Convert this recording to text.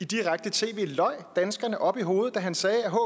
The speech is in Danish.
direkte tv løj danskerne op i hovedet da han sagde at